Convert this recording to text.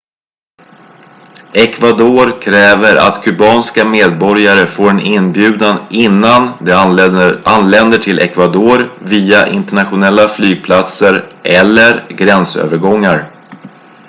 ecuador kräver att kubanska medborgare får en inbjudan innan de anländer till ecuador via internationella flygplatser eller gränsövergångar